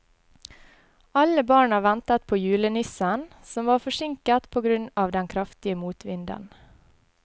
Alle barna ventet på julenissen, som var forsinket på grunn av den kraftige motvinden.